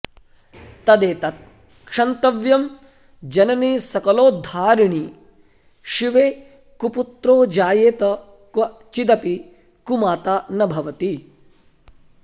तदेतत् क्षन्तव्यं जननि सकलोद्धारिणि शिवे कुपुत्रो जायेत क्वचिदपि कुमाता न भवति